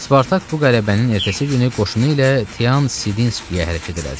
Spartak bu qələbənin ertəsi günü qoşunu ilə Tean Sidinskiyə hərəkət elədi.